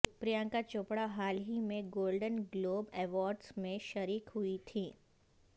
پرینکا چوپڑہ حال ہی میں گولڈن گلوب ایوارڈز میں شریک ہوئی تھیں